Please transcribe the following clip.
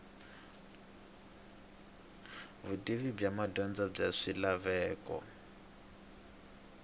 vutivi bya madyondza bya swilaveko